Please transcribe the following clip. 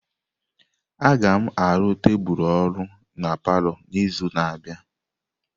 Agam arụ tebụl ọrụ na palọ n'izu na-abịa.